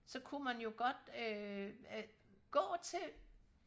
så kunne man jo godt øh gå til